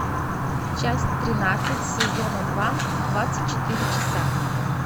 часть тринадцать сезона два двадцать четыре часа